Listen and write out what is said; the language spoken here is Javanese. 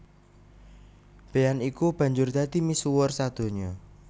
Bean iki banjur dadi misuwur sadonya